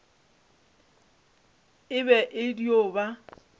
e be e dio ba